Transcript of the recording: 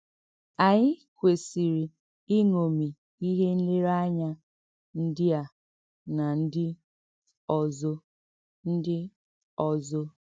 Ànyị kwesìrì ìṅòmì íhè nlerèànyà ǹdí à nà ǹdí ọ̀zò. ǹdí ọ̀zò.